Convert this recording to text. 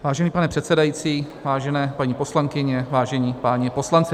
Vážený pane předsedající, vážené paní poslankyně, vážení páni poslanci.